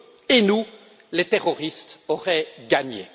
et nous, les terroristes auraient gagné.